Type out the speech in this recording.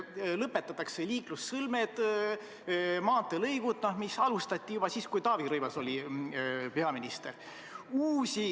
Lõpetatakse liiklussõlmed, maanteelõigud, mida alustati juba siis, kui Taavi Rõivas oli peaminister.